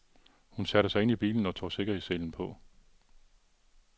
Hun satte sig ind i bilen og tog sikkerhedsselen på.